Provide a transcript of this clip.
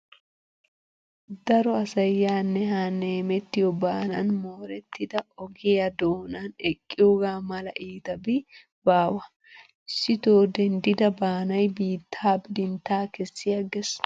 Daro asayi yaanne haanne hemettiyoo baanan moorettida ogiyaa doonan eqqiyoogaa mala iitabi baawa. Issitoo denddida baanayi biitta bidintta kessi agges.